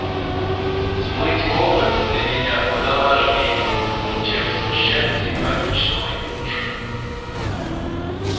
смыть копоть для меня куда важнее чем смущать симпатичного юношу